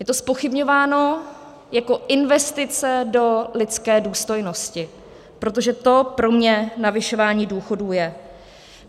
Je to zpochybňováno jako investice do lidské důstojnosti, protože to pro mě navyšování důchodů je.